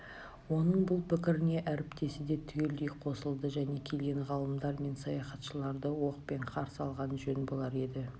оның бұл пікіріне әріптесі де түгелдей қосылды және келген ғалымдар мен саяхатшыларды оқпен қарсы алған жөн болар еді